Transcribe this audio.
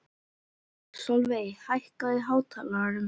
Sólveig, hækkaðu í hátalaranum.